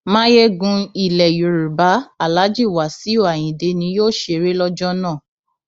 mayegun ilẹ yorùbá aláàjì wàsíù ayinde ni yóò ṣeré lọjọ náà